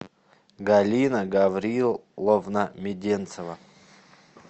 галина гавриловна меденцева